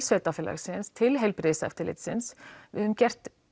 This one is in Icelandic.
sveitafélagsins til heilbrigðis eftirlitsins við höfum gert